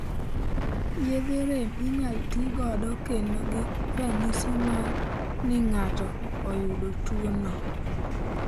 Yedhe rem inyalo tii godo kedo gi ranyisi mar ni ng'ato oyudo tuo no